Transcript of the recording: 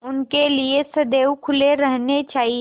उनके लिए सदैव खुले रहने चाहिए